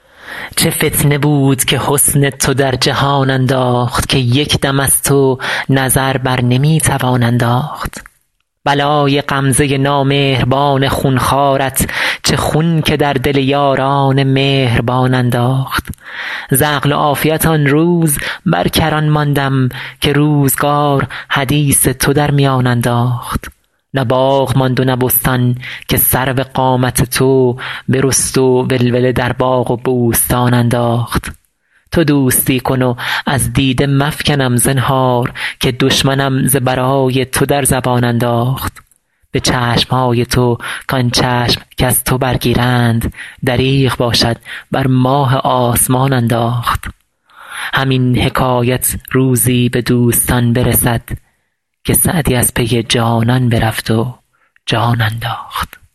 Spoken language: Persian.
چه فتنه بود که حسن تو در جهان انداخت که یک دم از تو نظر بر نمی توان انداخت بلای غمزه نامهربان خون خوارت چه خون که در دل یاران مهربان انداخت ز عقل و عافیت آن روز بر کران ماندم که روزگار حدیث تو در میان انداخت نه باغ ماند و نه بستان که سرو قامت تو برست و ولوله در باغ و بوستان انداخت تو دوستی کن و از دیده مفکنم زنهار که دشمنم ز برای تو در زبان انداخت به چشم های تو کان چشم کز تو برگیرند دریغ باشد بر ماه آسمان انداخت همین حکایت روزی به دوستان برسد که سعدی از پی جانان برفت و جان انداخت